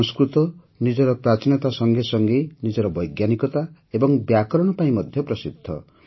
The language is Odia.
ସଂସ୍କୃତ ନିଜର ପ୍ରାଚୀନତା ସଙ୍ଗେ ସଙ୍ଗେ ନିଜର ବୈଜ୍ଞାନିକତା ଏବଂ ବ୍ୟାକରଣ ପାଇଁ ମଧ୍ୟ ପ୍ରସିଦ୍ଧ